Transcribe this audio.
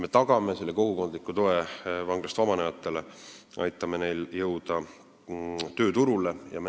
Me peame vanglast vabanenutele tagama kogukondliku toe ja aitama neil jõuda tööturule.